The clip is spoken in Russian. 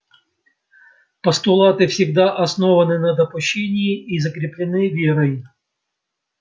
постулаты всегда основаны на допущении и закреплены верой